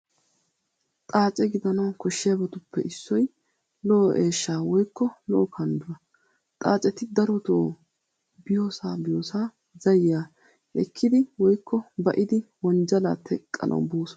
Xaace gidanawu koshshiyabatuppe issoy lo'o eeshshaa woykko lo'o kandduwaa. Xaaceti daroto biyosaa biyosaa zayiyaa ekkidi woykko ba'idi wonjjalaa teqqanawu boosona .